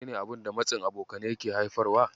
Menene abun da matsin abokanai yake haifarwa?